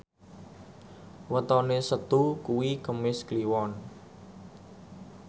wetone Setu kuwi Kemis Kliwon